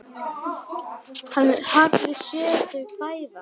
Hann hafði séð þau fæðast.